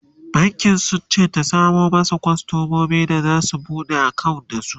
bankin sunce ta samo masu kwastamomi da zasu buɗe akawunt da su